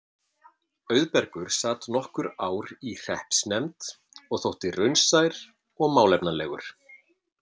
Auðbergur sat nokkur ár í hreppsnefnd og þótti raunsær og málefnalegur.